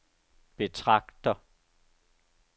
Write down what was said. betragter